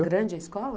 grande a escola?